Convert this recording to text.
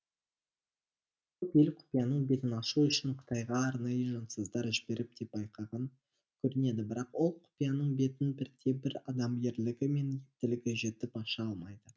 көп ел құпияның бетін ашу үшін қытайға арнайы жансыздар жіберіп те байқаған көрінеді бірақ ол құпияның бетін бірде бір адам ерлігі мен ептілігі жетіп аша алмайды